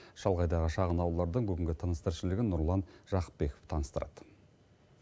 шалғайдағы шағын ауылдардың бүгінгі тыныс тіршілігін нұрлан жақыпбеков таныстырады